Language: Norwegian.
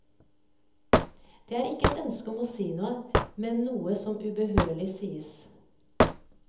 Det er ikke et ønske om å si noe, men noe som ubønnhørlig sies.